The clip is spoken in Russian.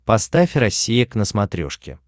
поставь россия к на смотрешке